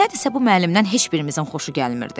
Nədənsə bu müəllimdən heç birimizin xoşu gəlmirdi.